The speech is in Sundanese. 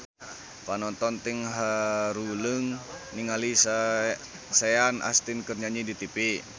Panonton ting haruleng ningali Sean Astin keur nyanyi di tipi